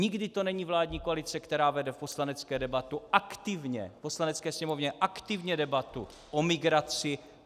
Nikdy to není vládní koalice, která vede v Poslanecké sněmovně aktivně debatu o migraci.